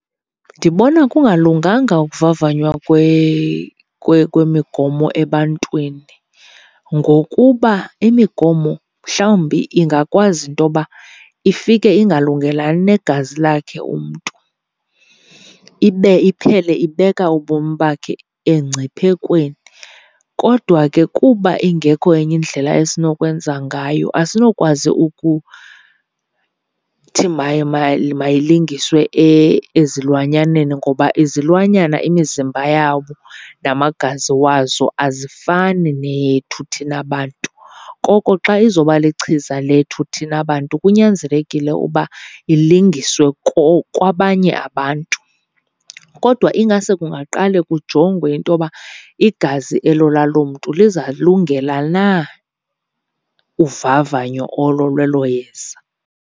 Ndibona kungalunganga ukuvavanywa kwemigomo ebantwini ngokuba imigomo mhlawumbi ingakwazi intoba ifike ingalungelani negazi lakhe umntu, ibe iphele ibeka ubomi bakhe engciphekweni. Kodwa ke kuba ingekho enye indlela esinokwenza ngayo, asinokwazi ukuthi mayilingiswe ezilwanyaneni ngoba izilwanyana imizimba yawo namagazi wazo azifani neyethu thina bantu. Koko xa izoba lichiza lethu thina bantu kunyanzelekile uba ilingiswe kwabanye abantu, kodwa ingaske kungaqale kujongwe intoba igazi elo lalo mntu lizalungela na uvavanyo olo lwelo yeza.